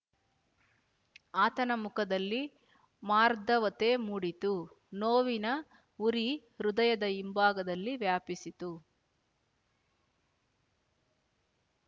ಆತನ ಮುಖದಲ್ಲಿ ಮಾರ್ದವತೆ ಮೂಡಿತು ನೋವಿನ ಉರಿ ಹೃದಯದ ಹಿಂಭಾಗದಲ್ಲಿ ವ್ಯಾಪಿಸಿತು